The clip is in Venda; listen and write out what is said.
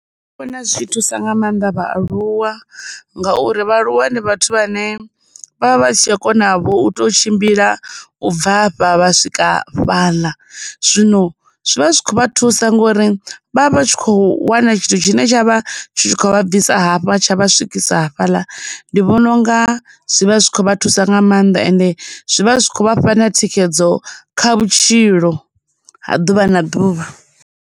Vhona zwi tshi thusa nga maanḓa vhaaluwa, ngauri vhaaluwa ndi vhathu vhane vha vha vha si tsha kona vho u tou tshimbila u bva afha vha swika fhaḽa. Zwino zwi vha zwi khou vha thusa ngauri vha vha vha tshi khou wana tshithu tshine tsha vha tshi tshi khou vha bvisa hafha tsha vha swikisa hafhaḽa, ndi vhona u nga zwivha zwi khou vha thusa nga maanḓa ende, zwivha zwi khou vha fha na thikhedzo kha vhutshilo ha ḓuvha na ḓuvha.